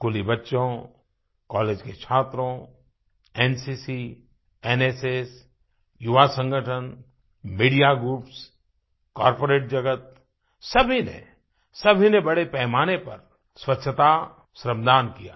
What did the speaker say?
स्कूली बच्चों कॉलेज के छात्रों एनसीसी एनएसएस युवा संगठन मीडिया ग्रुप्स कॉर्पोरेट जगत सभी ने सभी ने बड़े पैमाने पर स्वच्छता श्रमदान किया